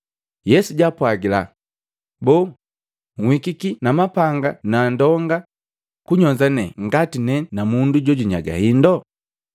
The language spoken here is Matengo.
Yesu jaapwagila, “Boo, nhikiki na mapanga ni indonga kunyonza ne ngati ne na mundu jo nyaga hindu?